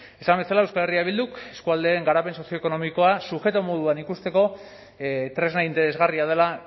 esan bezala euskal herria bilduk eskualdeen garapen sozioekonomikoa sujeto moduan ikusteko tresna interesgarria dela